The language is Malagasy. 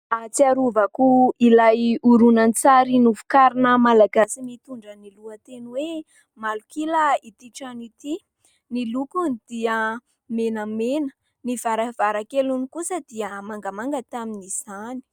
Ahatsiarovako ilay horonan-tsary novokarina Malagasy mitondra ny lohateny hoe Malok'ila itỳ trano itỳ. Ny lokony dia menamena, ny varavarankeliny kosa dia mangamanga tamin'izany.